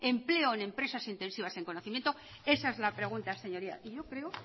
empleo en empresas intensivas en conocimiento esa es la pregunta señoría y yo creo